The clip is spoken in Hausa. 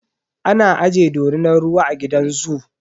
Ana aje dorinar ruwa a gidan zoo.